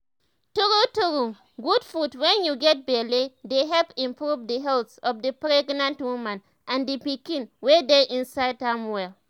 true true good food wen u get belle dey help improve the health of the pregnant woman and the pikiin wey dey inside am well